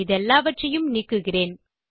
இதெல்லாவற்றையும் நீக்குகிறேன்